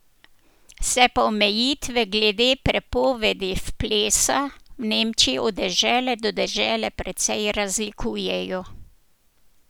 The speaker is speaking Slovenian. Se pa omejitve glede prepovedi v plesa v Nemčiji od dežele do dežele precej razlikujejo.